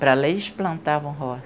Para lá, eles plantavam roça.